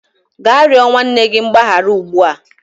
Gaa rịọ nwanne gị mgbaghara ugbu a!